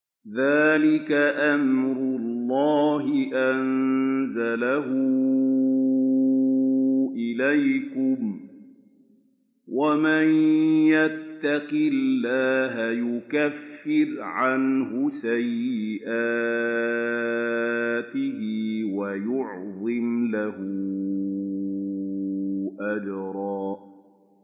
ذَٰلِكَ أَمْرُ اللَّهِ أَنزَلَهُ إِلَيْكُمْ ۚ وَمَن يَتَّقِ اللَّهَ يُكَفِّرْ عَنْهُ سَيِّئَاتِهِ وَيُعْظِمْ لَهُ أَجْرًا